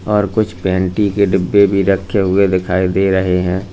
और कुछ पैंटी के डिब्बे भी रखे हुए दिखाई दे रहे हैं।